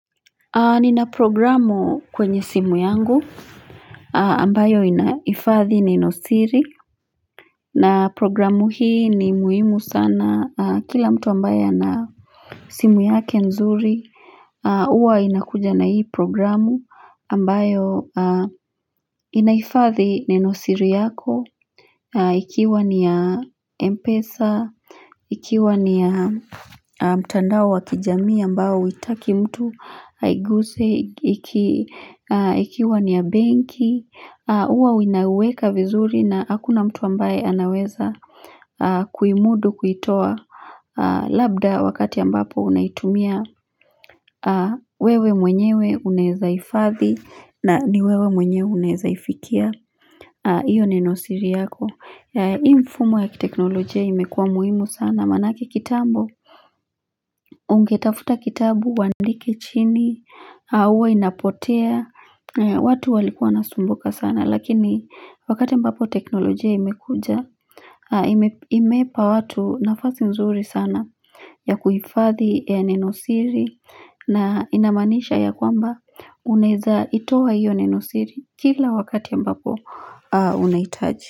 Nina programu kwenye simu yangu ambayo inahifadhi nenosiri na programu hii ni muhimu sana kila mtu ambaye ana simu yake nzuri, Uwa inakuja na hii programu ambayo Inaifadhi nenosiri yako Ikiwa ni ya Mpesa Ikiwa ni ya mtandao wakijamii ambao huitaki mtu aiguse Ikiwa ni ya benki huwa winaweka vizuri na hakuna mtu ambaye anaweza kuimudu kuitoa Labda wakati ambapo unaitumia wewe mwenyewe unaweza hifadhi na niwewe mwenyewe unawezaifikia hiyo ninosiri yako hii mfumo ya teknolojia imekua muhimu sana manake kitambo ungetafuta kitabu uandike chini huwa inapotea watu walikuwa nasumbuka sana lakini wakati mbapo teknolojia imekuja imeipa watu nafasi nzuri sana ya kuifadhi ya nenosiri na inamaanisha ya kwamba uneza itoa hiyo nenosiri kila wakati mbapo unahitaji.